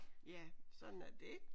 Ja sådan er det